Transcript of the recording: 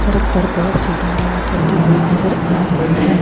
सड़क पर बहोत सी गाड़ियां चलती हुई नजर आ रही है।